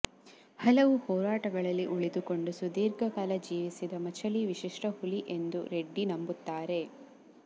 ಹಲವು ಹೋರಾಟಗಳಲ್ಲಿ ಉಳಿದುಕೊಂಡು ಸುದೀರ್ಘ ಕಾಲ ಜೀವಿಸಿದ ಮಚಲಿ ವಿಶಿಷ್ಟ ಹುಲಿ ಎಂದು ರೆಡ್ಡಿ ನಂಬುತ್ತಾರೆ